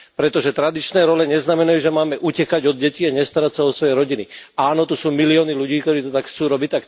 Pretože tradičné role neznamenajú, že máme utekať od detí a nestarať sa o svoje rodiny. Áno, tu sú milióny ľudí, ktorí to tak chcú robiť.